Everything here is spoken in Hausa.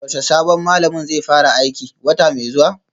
Yaushe sabon malamin zai fara aiki, wata mai zuwa?